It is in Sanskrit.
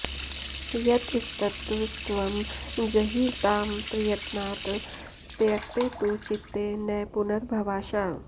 यतस्ततस्त्वं जहि तां प्रयत्नात् त्यक्ते तु चित्ते न पुनर्भवाशा